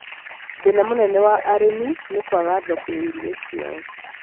Thĩna mũnene wa arĩmi nĩ kwaga thoko ya irio ciao